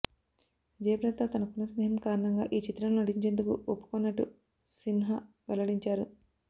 జయప్రదతో తనకున్న స్నేహం కారణంగా ఈ చిత్రంలో నటించేందుకు ఒప్పుకొన్నట్టు సిన్హా వెల్లడించారు